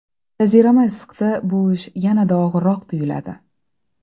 Jazirama issiqda bu ish yanada og‘irroq tuyuladi.